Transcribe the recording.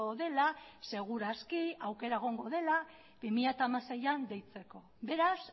dela seguraski aukera egongo dela bi mila hamaseian deitzeko beraz